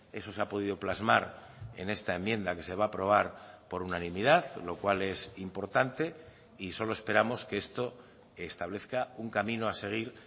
eso se ha podido plasmar en esta enmienda que se va a aprobar por unanimidad lo cual es importante y solo esperamos que esto establezca un camino a seguir